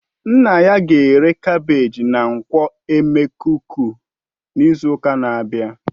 His father will sell his carbagges at ngwo emekuku next week